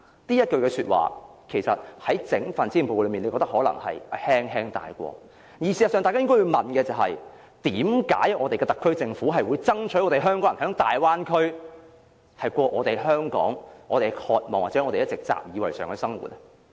大家可能覺得，施政報告只是輕輕帶過這幾句說話，但事實上，大家應該問：為何特區政府會爭取為港人在大灣區過我們渴望或一直習以為常的生活呢？